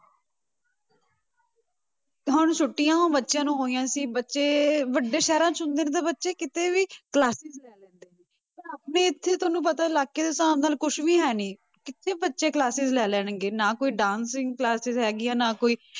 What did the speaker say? ਹੁਣ ਛੁੱਟੀਆਂ ਬੱਚਿਆਂ ਨੂੰ ਹੋਈਆਂ ਸੀ ਬੱਚੇ ਵੱਡੇ ਸ਼ਹਿਰਾਂ 'ਚ ਹੁੰਦੇ ਨੇ ਤੇ ਬੱਚੇ ਕਿਤੇ ਵੀ classes ਲੈ ਲੈਂਦੇ ਨੇ ਪਰ ਆਪਣੇ ਇੱਥੇ ਤੁਹਾਨੂੰ ਪਤਾ ਇਲਾਕੇ ਦੇ ਹਿਸਾਬ ਨਾਲ ਕੁਛ ਵੀ ਹੈ ਨੀ, ਕਿੱਥੇ ਬੱਚੇ classes ਲੈ ਲੈਣਗੇ, ਨਾ ਕੋਈ dancing classes ਹੈਗੀ ਆ ਨਾ ਕੋਈ